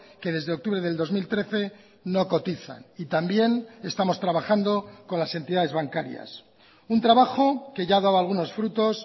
que desde octubre del dos mil trece no cotizan y también estamos trabajando con las entidades bancarias un trabajo que ya ha dado algunos frutos